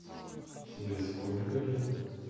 тебе сколько лет